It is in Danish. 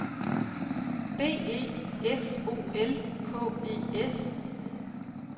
B E F O L K E S